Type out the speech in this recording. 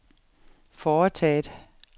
foretaget